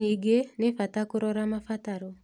Ningĩ, nĩ bata kũrora mabataro